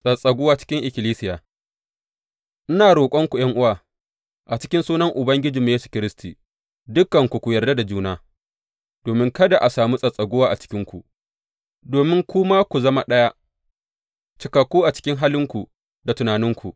Tsattsaguwa cikin ikkilisiya Ina roƙonku ’yan’uwa, a cikin sunan Ubangijinmu Yesu Kiristi, dukanku ku yarda da juna, domin kada a sami tsattsaguwa a cikinku, domin kuma ku zama ɗaya, cikakku a cikin halinku da tunaninku.